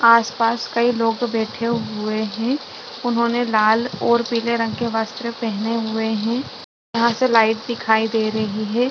आसपास कई लोग बैठे हुए हैं उन्होंने लाल और पीले रंग के वस्त्र पहने हुए हैं यहां से लाइट दिखाई दे रही है।